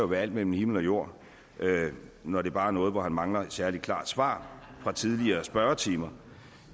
være alt mellem himmel og jord når det bare er noget hvor han mangler et særlig klart svar fra tidligere spørgetimer